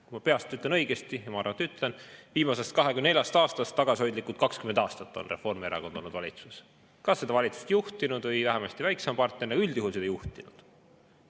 Kui ma peast ütlen õigesti – ja ma arvan, et ütlen –, siis viimasest 24 aastast tagasihoidlikud 20 aastat on Reformierakond olnud valitsuses, kas seda valitsust juhtinud või olnud vähemasti väiksem partner, aga üldjuhul on seda juhtinud.